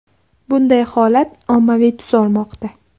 Bunday holat ommaviy tus olmoqda.